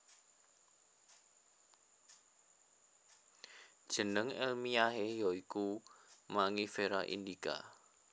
Jeneng èlmiyahé ya iku Mangifera indica